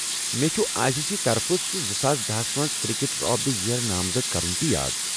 مےٚ چُھ I C C طرفہٕ سُہ زٕ ساس دَہس منز کرکٹر آف دِ ییر نامزد كرُن تہِ یاد